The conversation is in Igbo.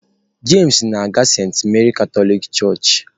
James na-aga Saint Mary Katọlik Church.